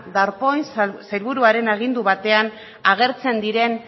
darpón sailburuaren agindu batean agertzen diren